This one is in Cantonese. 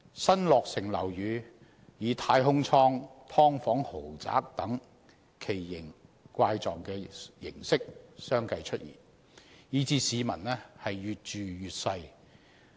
新落成樓宇以"太空艙"、"劏房豪宅"等奇形怪式相繼出現，以致市民越住越細。